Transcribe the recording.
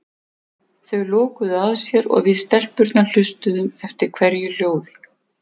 Þau lokuðu að sér og við stelpurnar hlustuðum eftir hverju hljóði.